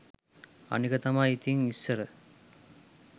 අනික තමයි ඉතින් ඉස්සර